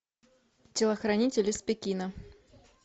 телохранитель из пекина